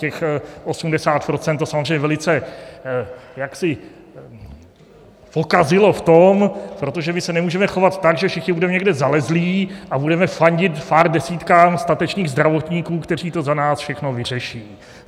Těch 80 % to samozřejmě velice jaksi pokazilo v tom - protože my se nemůžeme chovat tak, že všichni budeme někde zalezlí a budeme fandit pár desítkám statečných zdravotníků, kteří to za nás všechno vyřeší.